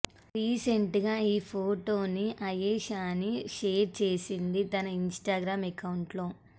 recent గా ఈ ఫొటోని ఆయేషాని షేర్ చేసింది తన ఇనిస్ట్రిగ్రామ్ ఎక్కౌంట్ లో